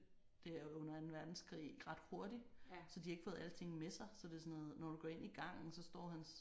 Der under anden verdenskrig ret hurtig så de har ikke fået alting med sig. Så det er sådan noget når du går ind i gangen så står hans